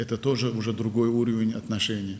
Bu da artıq münasibətlərin başqa səviyyəsidir.